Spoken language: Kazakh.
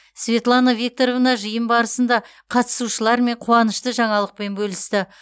светлана викторовна жиын барысында қатысушылармен қуанышты жаңалықпен бөлісті